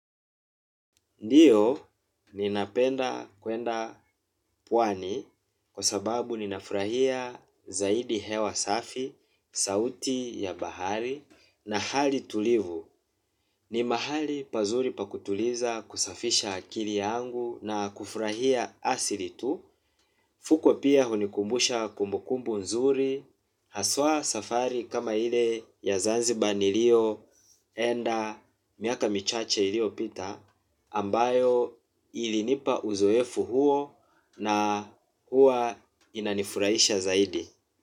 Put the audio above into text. Ndiyo ninapenda kuenda puwani kwa sababu ninafurahia zaidi hewa safi, sauti ya bahari na hali tulivu. Ni mahali pazuri pa kutuliza kusafisha akili yangu na kufurahia asili tu. Fukwe pia hunikumbusha kumbukumbu nzuri, haswa safari kama ile ya Zanzibar nilio enda miaka michache iliopita ambayo ilinipa uzoefu huo na huwa inanifuraisha zaidi.